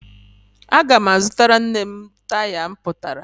Aga m azụtara nne m taya mpụtara